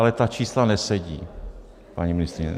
Ale ta čísla nesedí, paní ministryně.